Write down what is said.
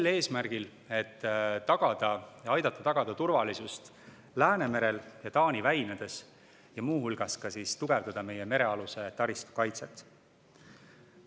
Sel eesmärgil, et aidata tagada turvalisust Läänemerel ja Taani väinades ning muu hulgas tugevdada meie merealuse taristu kaitset.